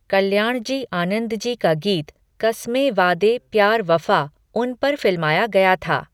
कल्याणजी आनंदजी का गीत 'कस्मे वादे प्यार वफा' उन पर फिल्माया गया था।